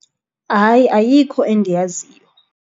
Hayi, ayikho endiyaziyo.